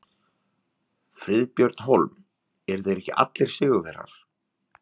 Friðbjörn Hólm: Eru þeir ekki allir sigurvegarar?